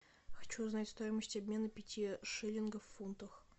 хочу узнать стоимость обмена пяти шиллингов в фунтах